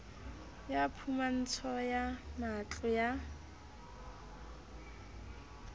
ya phumantsho ya matlo ya